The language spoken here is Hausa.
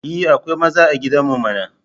E, akwai maza a gidan mu mana.